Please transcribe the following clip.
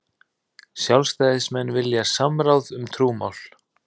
Sjálfstæðismenn vilja samráð um trúmál